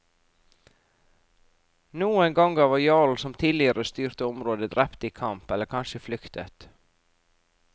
Noen ganger var jarlen som tidligere styrte området drept i kamp, eller kanskje flyktet.